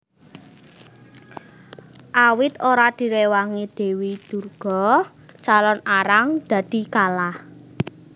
Awit ora direwangi Dewi Durga Calon Arang dadi kalah